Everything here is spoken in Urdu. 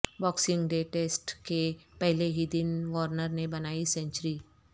باکسنگ ڈے ٹسٹ کے پہلے ہی دن وارنر نے بنائی سنچری